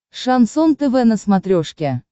шансон тв на смотрешке